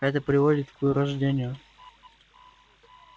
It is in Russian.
это приводит к вырождению